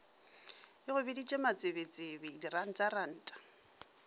e go biditše matsebetsebe dirantaranta